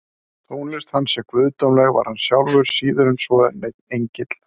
Þótt tónlist hans sé guðdómleg var hann sjálfur síður en svo neinn engill.